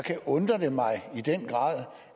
undrer det mig i den grad